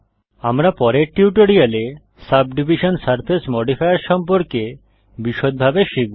আমরা পরের টিউটোরিয়ালে সাবডিভিশন সারফেস মডিফায়ার সম্পর্কে বিষদভাবে শিখব